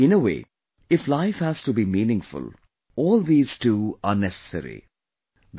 In a way if life has to be meaningful, all these too are as necessary...